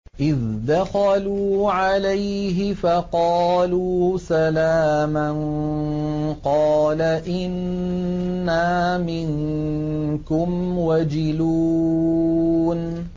إِذْ دَخَلُوا عَلَيْهِ فَقَالُوا سَلَامًا قَالَ إِنَّا مِنكُمْ وَجِلُونَ